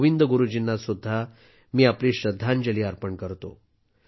गोविंदगुरुजीं ना सुद्धा मी आपली श्रद्धांजली अर्पण करतो